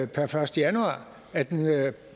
per første januar at den er